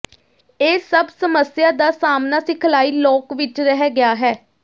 ਇਹ ਸਭ ਸਮੱਸਿਆ ਦਾ ਸਾਹਮਣਾ ਸਿਖਲਾਈ ਲੋਕ ਵਿਚ ਰਹਿ ਗਿਆ ਹੈ